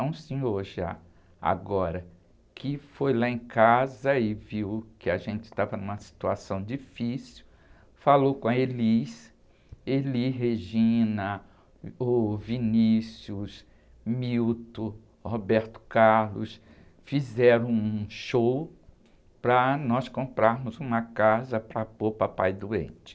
É um senhor já, agora, que foi lá em casa e viu que a gente estava numa situação difícil, falou com a Elis, Elis Regina, o Vinícius, Milton, Roberto Carlos, fizeram um show para nós comprarmos uma casa para pôr o papai doente.